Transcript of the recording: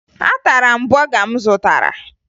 Atara m bọga m zụtara